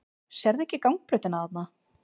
Sérðu ekki gangbrautina þarna?